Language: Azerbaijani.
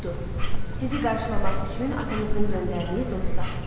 Budur, sizi qarşılamaq üçün atanızın göndərdiyi dostlar.